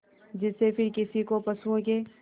जिससे फिर किसी को पशुओं के